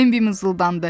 Bembi mızıldandı.